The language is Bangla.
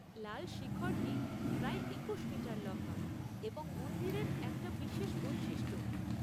লাল শিখরটি প্রায় একুশ মিটার লম্বা এবং মন্দিরের একটা বিশেষ বৈশিষ্ট্য।